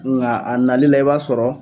Nga a nali la i b'a sɔrɔ